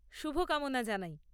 শুভকামনা জানাই।